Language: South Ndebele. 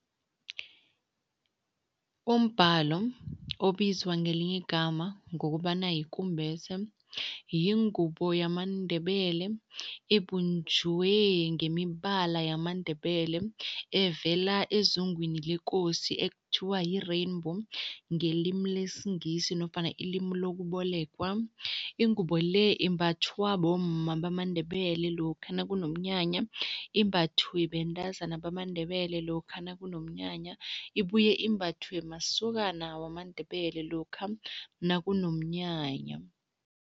Umbhalo obizwa ngelinye igama ngokobana yikumbese, yingubo yamaNdebele ebunjwe ngemibala yamaNdebele, evela ezungwini lekosi ekuthiwa yi-rainbow ngelimi lesingisi nofana ilimi lokubolekwa. iingubo le imbathwa bomma bamaNdebele lokha nakunomnyanya, imbathwe bentazana bamaNdebele lokha nakunomnyanya, ibuye imbathwe masokana wamaNdebele lokha nakunomnyanya.